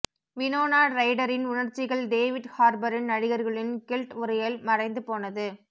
Winona ரைடரின் உணர்ச்சிகள் David ஹார்பரின் நடிகர்களின் கில்ட் உரையில் மறைந்துபோனது